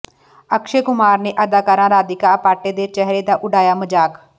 ਅਕਸ਼ੇ ਕੁਮਾਰ ਨੇ ਅਦਾਕਾਰਾ ਰਾਧਿਕਾ ਆਪਟੇ ਦੇ ਚਿਹਰੇ ਦਾ ਉਡਾਇਆ ਮਜ਼ਾਕ